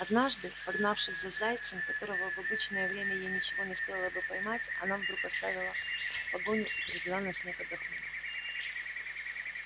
однажды погнавшись за зайцем которого в обычное время ей ничего не стоило бы поймать она вдруг оставила погоню и прилегла на снег отдохнуть